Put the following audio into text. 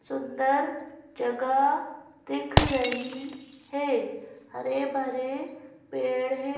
सुंदर जगह दिख रही है हरे भरे पेड़ है।